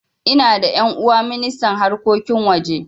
Ina da ƴan'uwa ministan harkokin waje